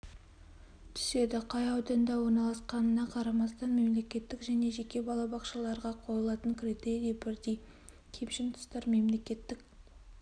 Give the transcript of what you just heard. түседі қай ауданда орналасқанына қарамастан мемлекеттік және жеке балабақшаларға қойылатын критерии бірдей кемшін тұстар мемлекеттік